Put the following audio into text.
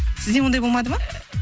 сізде ондай болмады ма